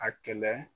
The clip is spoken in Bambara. A kɛlɛ